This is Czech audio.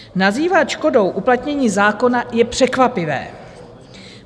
Nazývat škodou uplatnění zákona je překvapivé.